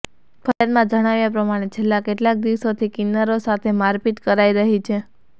ફરિયાદમાં જણાવ્યા પ્રમાણે છેલ્લાં કેટલાક દિવસોથી કિન્નરો સાથે મારપીટ કરાઇ રહી છે